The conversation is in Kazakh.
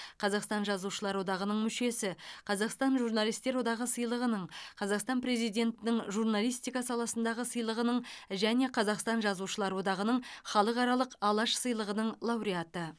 қазақстан жазушылар одағының мүшесі қазақстан журналистер одағы сыйлығының қазақстан президентінің журналистика саласындағы сыйлығының және қазақстан жазушылар одағының халықаралық алаш сыйлығының лауреаты